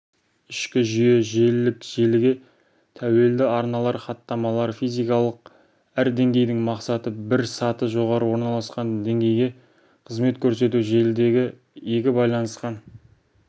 ішкі жүйе желілік желіге тәуелді арналы хаттамалар физикалық әр деңгейдің мақсаты бір саты жоғары орналасқан деңгейге қызмет көрсету желідегі екі байланысқан